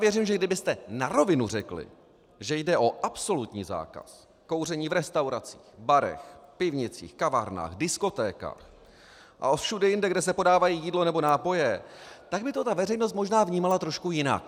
Věřím, že kdybyste na rovinu řekli, že jde o absolutní zákaz kouření v restauracích, barech, pivnicích, kavárnách, diskotékách a všude jinde, kde se podávají jídlo nebo nápoje, tak by to ta veřejnost možná vnímala trošku jinak.